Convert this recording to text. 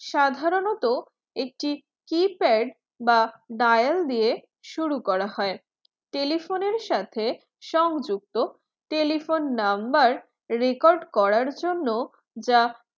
সাধরণত একটি keypad বা dial দিয়ে শুরু করা হয় telephone সাথে সংযুক্ত telephone number record করার জন্য যা